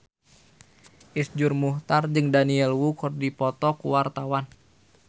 Iszur Muchtar jeung Daniel Wu keur dipoto ku wartawan